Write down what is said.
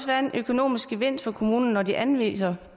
være en økonomisk gevinst for kommunerne når de anviser